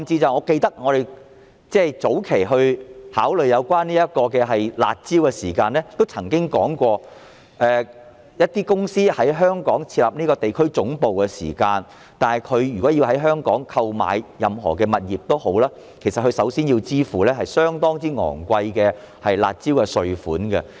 我記得，我們早期考慮樓市"辣招"時，曾經提及一些公司如想在香港設立地區總部，在香港購買物業時須支付相當高昂的"辣招"稅。